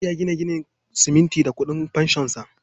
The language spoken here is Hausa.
Audu ya gina gidan siminti da ƙudin fanshonsa.